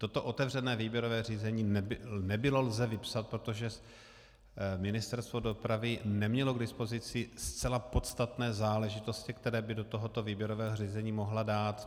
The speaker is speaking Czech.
Toto otevřené výběrové řízení nebylo lze vypsat, protože Ministerstvo dopravy nemělo k dispozici zcela podstatné záležitosti, které by do tohoto výběrového řízení mohlo dát.